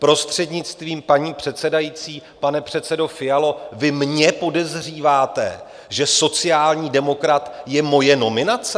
Prostřednictvím paní předsedající, pane předsedo Fialo, vy mě podezříváte, že sociální demokrat je moje nominace?